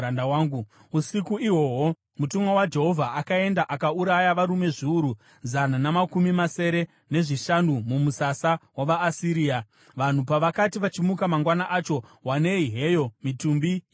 Usiku ihwohwo mutumwa waJehovha akaenda akauraya varume zviuru zana namakumi masere nezvishanu mumusasa wavaAsiria. Vanhu pavakati vachimuka mangwana acho, wanei heyo mitumbi yavakafa!